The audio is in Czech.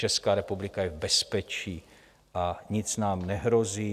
Česká republika je v bezpečí a nic nám nehrozí.